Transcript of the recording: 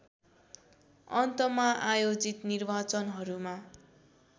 अन्तमा आयोजित निर्वाचनहरूमा